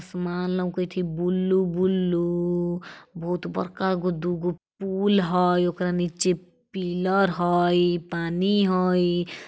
असमान लौकैत ही बुल्लु-बुल्लु बहुत बरका गो दुगो पुल हय ओकरा निचे पिलर हई पानी हई।